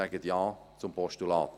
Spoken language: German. Sagen Sie deshalb Ja zum Postulat.